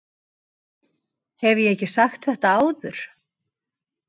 Hef ég ekki sagt þetta áður?